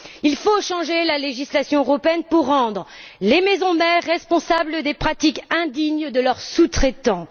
Il faut changer la législation européenne pour rendre les maisons mères responsables des pratiques indignes de leurs sous traitants.